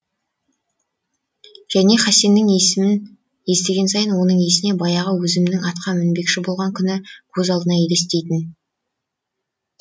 және хасеннің есімін естіген сайын оның есіне баяғы өзінің атқа мінбекші болған күні көз алдына елестейтін